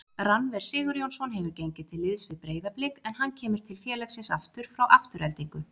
Rannver Sigurjónsson hefur gengið til liðs við Breiðablik en hann kemur til félagsins frá Aftureldingu.